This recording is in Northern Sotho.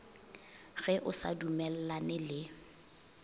ge o sa dumellane le